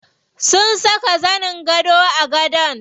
Sun saka zanin gado a gadon.